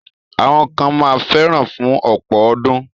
Àwọn kan ma fẹ́ra fún ọ̀pọ̀ ọdún.